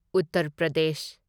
Uttar Pradesh